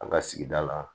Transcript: An ka sigida la